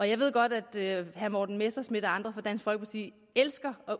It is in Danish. jeg ved godt at herre morten messerschmidt og andre fra dansk folkeparti elsker at